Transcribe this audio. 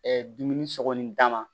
dumuni sɔgɔli d'a ma